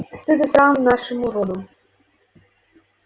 стыд и срам нашему роду